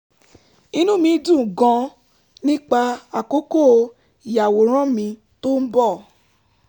inú mi dùn gan-an nípa àkókò ìyàwòrán mi tó ń bọ̀